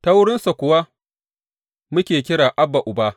Ta wurinsa kuwa muke kira, Abba, Uba.